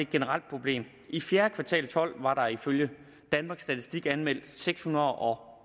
generelt problem i fjerde kvartal og tolv var der ifølge danmarks statistik anmeldt seks hundrede og